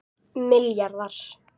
milljarðar